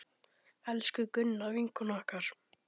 Elsku Gunna, vinkona okkar!